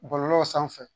Bɔlɔlɔ sanfɛ